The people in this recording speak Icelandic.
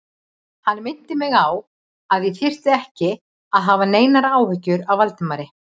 Hann minnti mig á, að ég þyrfti ekki að hafa neinar áhyggjur af Valdimari